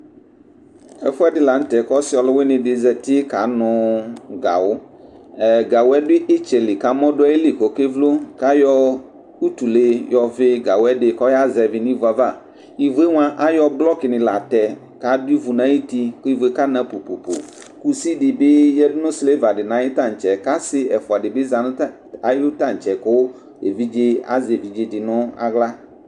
Ɛfʋ ɛdɩ la nʋ tɛ kʋ ɔsɩ ɔlʋwɩnɩ dɩ zati kanʋ gawʋ Ɛɛ gawʋ yɛ dʋ ɩtsɛ li kʋ amɔ dʋ ayili kʋ ɔkevlo kʋ ayɔ utule yɔvɩ gawʋ ɛdɩ kʋ ɔyazɛvɩ nʋ ivu yɛ ava Ivu yɛ mʋa, ayɔ blɔkɩnɩ la tɛ kʋ adʋ ivu nʋ ayuti kʋ ivu yɛ kana po-po-po Kusi dɩ bɩ yǝdu nʋ silva dɩ nʋ ayʋ tantse kʋ asɩ ɛfʋa dɩ bɩ za nʋ tan ayʋ tantse kʋ evidze azɛ evidze dɩ nʋ aɣla